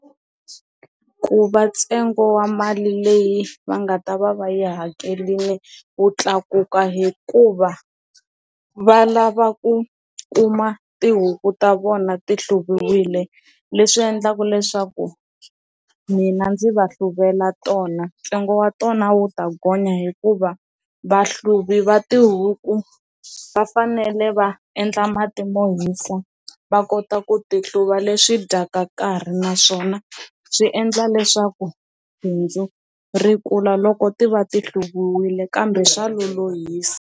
Ku va ntsengo wa mali leyi va nga ta va va yi hakerile wu tlakuka hikuva va lava ku kuma tihuku ta vona ti hluviwile leswi endlaka leswaku mina ndzi va hluvula tona ntsengo wa tona wu ta gonya hikuva va xihluvi va tihuku va fanele va endla matimu rohisa va kota ku ti hluva leswi dyaka nkarhi naswona swi endla leswaku bindzu ri kula loko ti va ti hluvule kambe swa lolohisi.